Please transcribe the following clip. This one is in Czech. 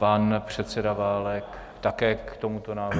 Pan předseda Válek, také k tomuto návrhu.